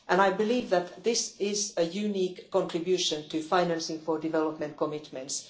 I believe that this is a unique contribution to financing for development commitments.